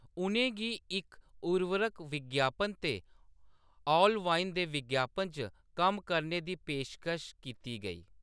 उ`नें गी इक उर्वरक विज्ञापन ते ऑलवाइन दे विज्ञापन च कम्म करने दी पेशकश कीती गेई।